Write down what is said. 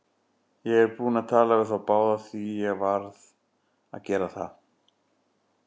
Ég er búinn að tala við þá báða, því ég varð að gera það.